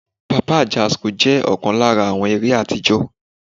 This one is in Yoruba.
Papa Ajasco jẹ́ ọ̀kan lára àwọn eré àtijọ́.